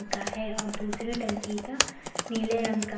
का है और दूसरे टंकी का नीले रंग का--